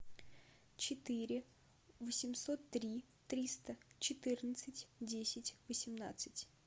четыре восемьсот три триста четырнадцать десять восемнадцать